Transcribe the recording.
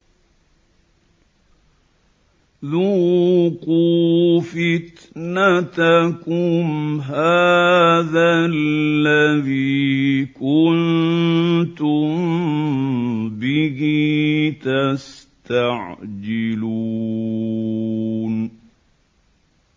ذُوقُوا فِتْنَتَكُمْ هَٰذَا الَّذِي كُنتُم بِهِ تَسْتَعْجِلُونَ